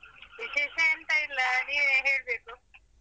ವಿಶೇಷ ಎಂತ ಇಲ್ಲ ನೀವೆ ಹೇಳ್ಬೇಕು.